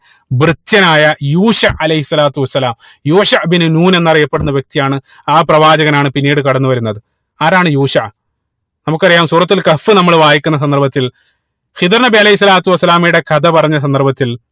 ഭൃത്യനായ യൂഷ അലൈഹി സ്വലാത്തു വസ്സലാം യൂഷ ഇബിനു നൂൻ എന്നറിയപ്പെടുന്ന വ്യക്തിയാണ് ആ പ്രവാചകനാണ് പിന്നീട് കടന്നു വരുന്നത് ആരാണ് യൂഷ നമുക്കറിയാ സൂറത്തുൽ കഹ്ഫ് നമ്മള് വായിക്കുന്ന സന്ദർഭത്തിൽ ഹിള്ർ നബി അലൈഹി സ്വലാത്തു വസ്സലാമയുടെ കഥ പറഞ്ഞ സന്ദർഭത്തിൽ